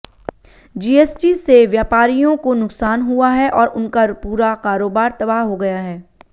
GST से व्यापारियों को नुकसान हुआ है और उनका पूरा कारोबार तबाह हो गया है